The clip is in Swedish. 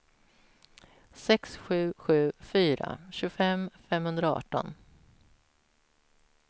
sex sju sju fyra tjugofem femhundraarton